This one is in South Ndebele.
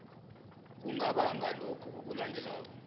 kungabanga lokhu okulandelako